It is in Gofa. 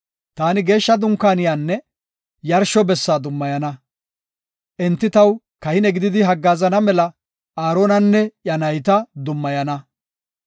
Taani Geeshsha Dunkaaniyanne yarsho bessa dummayana; enti taw kahine gididi haggaazana mela Aaronanne iya nayta dummayana.